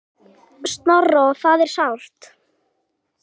Snorra og það er sárt.